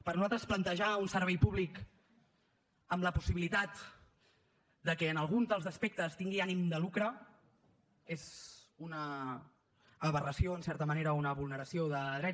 per nosaltres plantejar un servei públic amb la possibilitat que en algun dels aspectes tingui ànim de lucre és una aberració en certa manera o una vulneració de drets